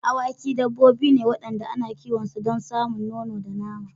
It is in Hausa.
Awaki dabbobi ne waɗanda ana kiwon su don samun nono da nama.